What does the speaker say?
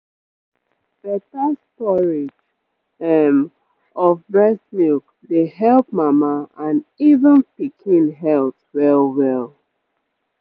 better storage um of breast milk dey help mama and even pikin health well-well